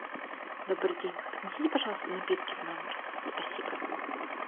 добрый день принесите пожалуйста напитки в номер спасибо